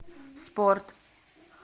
спорт